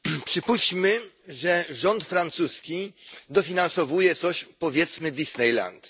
Przypuśćmy, że rząd francuski dofinansowuje coś, powiedzmy Disneyland.